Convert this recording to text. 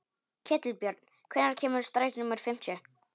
Ketilbjörn, hvenær kemur strætó númer fimmtíu?